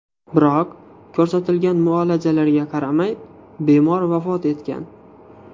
Biroq ko‘rsatilgan muolajalarga qaramay bemor vafot etgan .